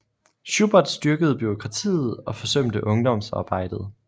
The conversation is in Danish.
Schubert styrkede bureaukratiet og forsømte ungdomsarbejdet